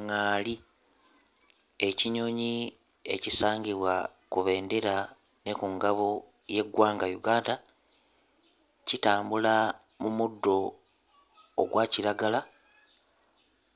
ŋŋaali ekinyonyi ekisangibwa ku bendera ne ku ngabo y'eggwanga Uganda kitambula mu muddo ogwa kiragala